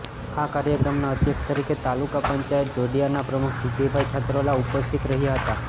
આ કાર્યક્રમના અધ્યક્ષ તરીકે તાલુકા પંચાયત જોડીયા ના પ્રમુખવિજયભાઈ છત્રોલા ઉપસ્થિત રહ્યા હતા